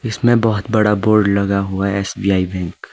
इसमें बहोत बड़ा बोर्ड लगा हुआ है एस_बी_आई बैंक ।